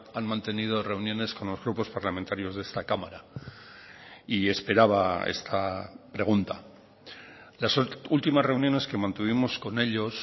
han mantenido reuniones con los grupos parlamentarios de esta cámara y esperaba esta pregunta las últimas reuniones que mantuvimos con ellos